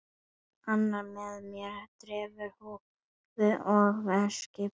Annar er með derhúfu og hendur djúpt í vösum.